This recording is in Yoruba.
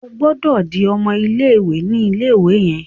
O gbódò dì ọmọ ilé-ìwé ní ilé-ìwé yen!